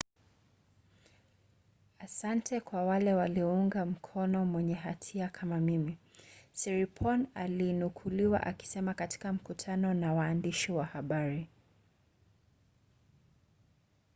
"asante kwa wale waliounga mkono mwenye hatia kama mimi siriporn alinukuliwa akisema katika mkutano na waandishi wa habari